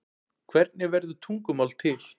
hvernig verður tungumál til